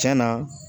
Cɛn na